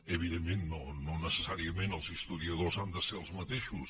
evidentment no necessàriament els historiadors han de ser els mateixos